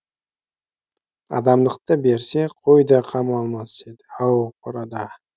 адамдықты берсе қой да қамалмас еді ау қорада